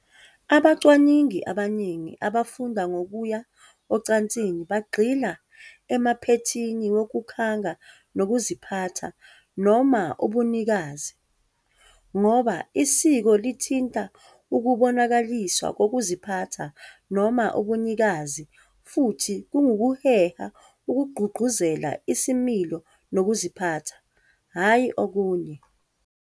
Abacwaningi abaningi abafunda ngokuya ocansini bagxila emaphethini wokukhanga kunokuziphatha noma ubunikazi, ngoba isiko lithinta ukubonakaliswa kokuziphatha noma ubunikazi futhi kungukuheha okugqugquzela isimilo nokuziphatha, hhayi okunye.